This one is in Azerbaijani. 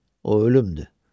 O ölümdür.